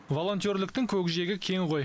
волонтерліктің көкжиегі кең ғой